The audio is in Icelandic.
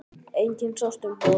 Enginn sást um borð.